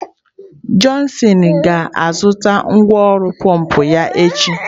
Johnson ga-azụta ngwá ọrụ pọmpụ ya echi.